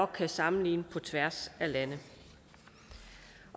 kan sammenligne på tværs af lande